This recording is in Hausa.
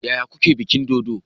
Yaya kuke bikin dodo?